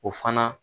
O fana